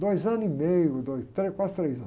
Dois anos e meio, dois, tre, quase três anos.